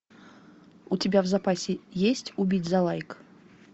у тебя в запасе есть убить за лайк